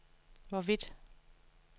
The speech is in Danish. hvorvidt